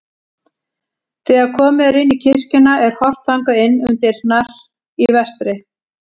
Þegar komið er inn í kirkjuna er horft þangað inn um dyrnar í vestri.